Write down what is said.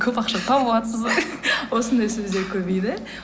көп ақша тауыватырсыз ба осындай сөздер көбейді